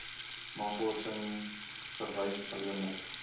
navorsing verwys alleenlik